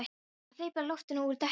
Ertu að hleypa loftinu úr dekkinu?